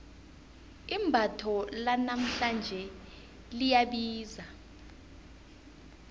imbatho lanamhlanje liyabiza